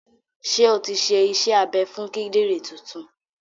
Ṣé o ti ṣe iṣẹ́ abẹ fún kídìrì tuntun?